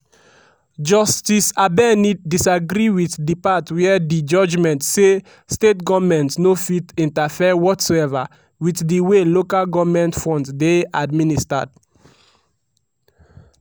justice abeni disagree wit di part wia di judgement say state goments no fit interfere whatsoever wit di way local goment funds dey administered.